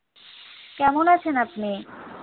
কেমন আছেন আপনি?